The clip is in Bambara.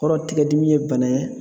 Kɔrɔ tigɛdimi ye bana ye